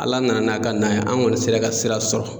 Ala nana n'a ka na ye, an kɔni sera ka sira sɔrɔ